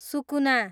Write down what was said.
सुकुुना